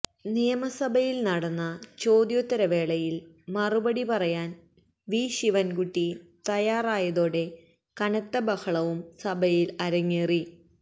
നിയമസഭയില് നടന്ന ചോദ്യോത്തര വേളയില് മറുപടി പറയാന് വി ശിവന്കുട്ടി തയ്യാറായതോടെ കനത്ത ബഹളവും സഭയില് അരങ്ങേറി